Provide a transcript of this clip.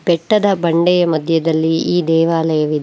ಬೆಟ್ಟದ ಬಂಡಿಯ ಮಧ್ಯದಲ್ಲಿ ಈ ದೇವಾಲಯವಿದೆ.